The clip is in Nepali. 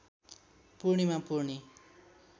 पूर्णीमा पूर्णी